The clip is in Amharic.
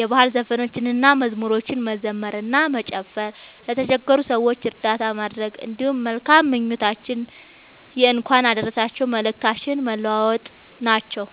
የባህል ዘፈኖችንና መዝሙሮችን መዘመር እና መጨፈር፣ ለተቸገሩ ሰዎች እርዳታ ማድረግ፣ እንዲሁም መልካም ምኞቶችንና የእንኳን አደረሳችሁ መልእክቶችን መለዋወጥ ናቸዉ።